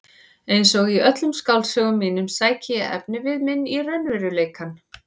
Einsog í öllum skáldsögum mínum sæki ég efnivið minn í raunveruleikann.